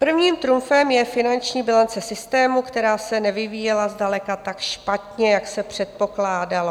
Prvním trumfem je finanční bilance systému, která se nevyvíjela zdaleka tak špatně, jak se předpokládalo.